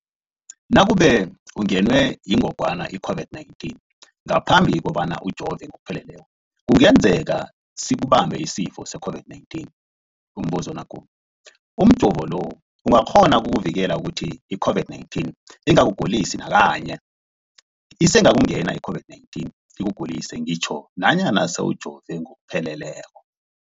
Nakube ungenwe yingogwana i-COVID-19 ngaphambi kobana ujove ngokupheleleko, kungenzeka sikubambe isifo se-COVID-19. Umbuzo, umjovo lo uyakghona ukukuvikela ukuthi i-COVID-19 ingakugulisi nakanye? Isengakungena i-COVID-19 ikugulise ngitjho nanyana sewujove ngokupheleleko.